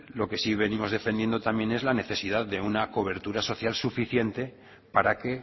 lo que sí venimos defendiendo también es la necesidad de una cobertura social suficiente para que